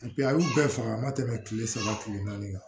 a y'u bɛɛ faga a ma tɛmɛ kile saba kile naani kan